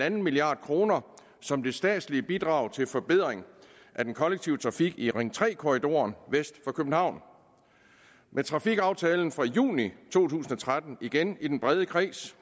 en milliard kroner som statsligt bidrag til en forbedring af den kollektive trafik i ring tre korridoren vest for københavn med trafikaftalen fra juni to tusind og tretten blev igen i den brede kreds